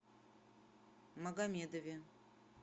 магомедове